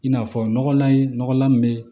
I n'a fɔ nɔgɔlan ye nɔgɔlan me